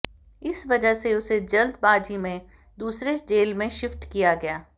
इस वजह से उसे जल्दबाजी में दूसरे जेल में शिफ्ट किया गया